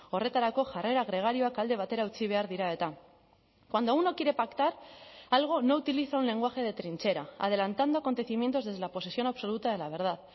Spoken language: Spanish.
horretarako jarrera gregarioak alde batera utzi behar dira eta cuando uno quiere pactar algo no utiliza un lenguaje de trinchera adelantando acontecimientos desde la posesión absoluta de la verdad